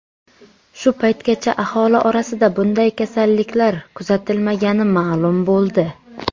Shu paytgacha aholi orasida bunday kasalliklar kuzatilmagani ma’lum bo‘ldi.